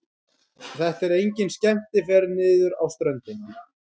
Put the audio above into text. Þetta er engin skemmtiferð niður á ströndina.